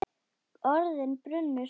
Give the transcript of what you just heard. Orðin brunnu hratt.